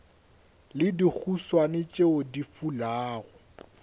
le dihuswane tšeo di fulago